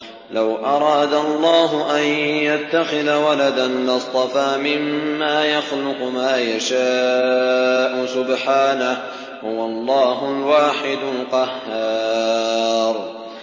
لَّوْ أَرَادَ اللَّهُ أَن يَتَّخِذَ وَلَدًا لَّاصْطَفَىٰ مِمَّا يَخْلُقُ مَا يَشَاءُ ۚ سُبْحَانَهُ ۖ هُوَ اللَّهُ الْوَاحِدُ الْقَهَّارُ